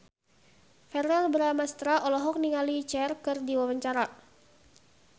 Verrell Bramastra olohok ningali Cher keur diwawancara